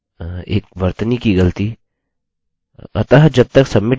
जब तक submit button के पास एक वेल्यू है एक वर्तनी की गलती